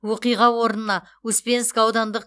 оқиға орнына успенск аудандық